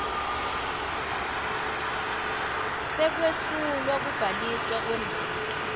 sekwesulwa kubhaliswa kwemoti